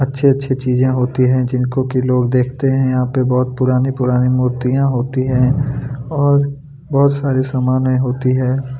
अच्छी-अच्छी चीजे होती है जिनको की लोग देखते है यहाँ पे बहुत पुरानी-पुरानी मूर्तियाँ होती है और बहुत सारी समाने होती है।